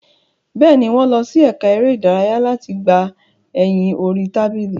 Bẹ́ẹ̀ni, wọ́n lọ sí ẹka eré ìdárayá láti gbà ẹyin orí tábìlì.